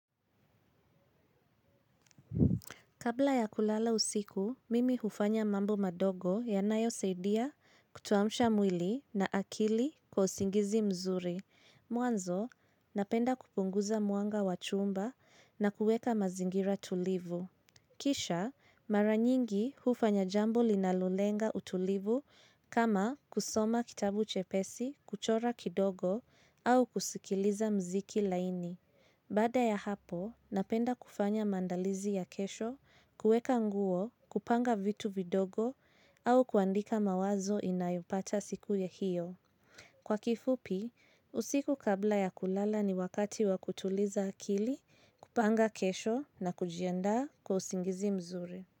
Kabla ya kulala usiku, mimi hufanya mambo madogo yanayo saidia kutuamsha mwili na akili kwa usingizi mzuri. Mwanzo, napenda kupunguza mwanga wachumba na kueka mazingira tulivu. Kisha, maranyingi hufanya jambo linalolenga utulivu kama kusoma kitabu chepesi kuchora kidogo au kusikiliza mziki laini. Baada ya hapo, napenda kufanya maandalizi ya kesho, kueka nguo, kupanga vitu vidogo, au kuandika mawazo inayopata siku ya hiyo. Kwa kifupi, usiku kabla ya kulala ni wakati wa kutuliza akili, kupanga kesho na kujianda kwa usingizi mzuri.